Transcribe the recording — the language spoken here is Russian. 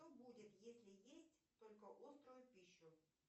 что будет если есть только острую пищу